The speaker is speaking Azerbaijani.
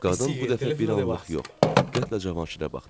Qadın bu dəfə bir anlıq yox, diqqətlə Cavanşirə baxdı.